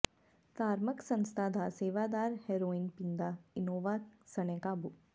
ਧਾਰਮਕ ਸੰਸਥਾ ਦਾ ਸੇਵਾਦਾਰ ਹੈਰੋਇਨ ਪੀਂਦਾ ਇਨੋਵਾ ਸਣੇ ਕਾਬੂ